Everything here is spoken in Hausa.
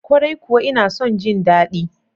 Kwarai kuwa ina son ji daɗi.